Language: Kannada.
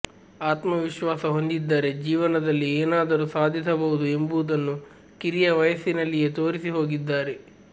ಆತ್ಮವಿಶ್ವಾಸ ಹೊಂದಿದ್ದರೆ ಜೀವನದಲ್ಲಿ ಏನಾದರೂ ಸಾಧಿಸಬಹುದು ಎಂಬುವುದನ್ನು ಕಿರಿಯ ವಯಸ್ಸಿನಲ್ಲಿಯೇ ತೋರಿಸಿ ಹೋಗಿದ್ದಾರೆ